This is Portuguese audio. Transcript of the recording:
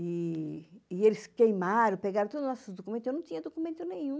E eles queimaram, pegaram todos os nossos documentos, eu não tinha documento nenhum.